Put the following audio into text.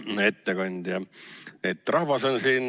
Hea ettekandja!